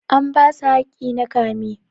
An basu hakki na kama.